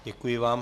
Děkuji vám.